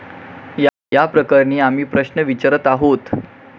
याप्रकरणी आम्ही प्रश्न विचरत आहोत.